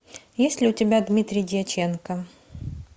есть ли у тебя дмитрий дьяченко